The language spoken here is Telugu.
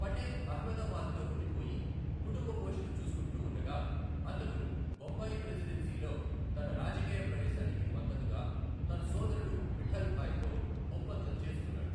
పటేల్ అహ్మదబాద్ లో ఉండిపోయి కుటుంబ పోషణ చూస్కుంటూ ఉండగా, అతను బొంబాయి ప్రెసిడెన్సీలో తన రాజకీయ ప్రవేశానికి మద్దతుగా తన సోదరుడు విఠల్ భాయ్ తో ఒప్పందం చేసుకున్నాడు.